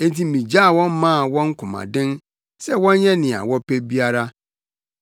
Enti migyaa wɔn maa wɔn komaden sɛ wɔnyɛ nea wɔpɛ biara.